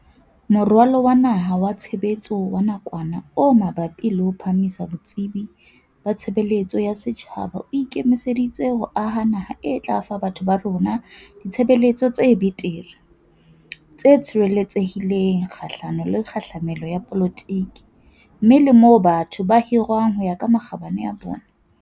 Moralo wa Naha wa Tshe betso wa Nakwana o Mabapi le ho Phahamisa Botsebi ba Tshebeletso ya Setjhaba o ike miseditse ho aha naha e tla fa batho ba rona ditshebeletso tse betere, tse tshireletsehi leng kgahlano le kgahlamelo ya dipolotiki mme le moo batho ba hirwang ho ya ka makgabane a bona.